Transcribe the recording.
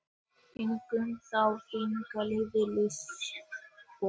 Göngum þá þína leið Ísbjörg.